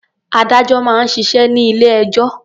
Adájọ́ máa ń ṣiṣẹ́ ní ilé-ẹjọ́.